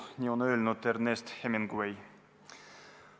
Nii on öelnud Ernest Hemingway.